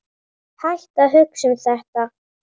Hættu að hugsa um þetta.